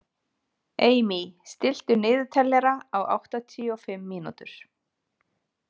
Amy, stilltu niðurteljara á áttatíu og fimm mínútur.